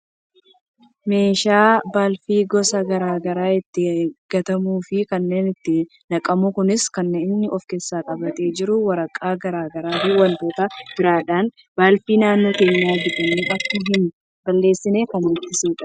meeshaa balfi gosa gara garaa ittiin gatamuufi kan itti naqamudha. kunis kan inni of keessatti qabatee jiru waraqaa gara garaa fi wantoota biraadha. balfi naannoo keenya bittinee akka hin balleessineef kan ittisudha.